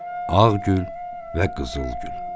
Ağgül və Qızılgül.